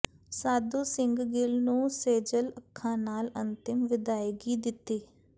ਸਾਧੂ ਸਿੰਘ ਗਿੱਲ ਨੂੰ ਸੇਜਲ ਅੱਖਾਂ ਨਾਲ ਅੰਤਿਮ ਵਿਦਾਇਗੀ ਦਿੱਤੀ